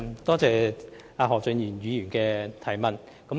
多謝何俊賢議員提出補充質詢。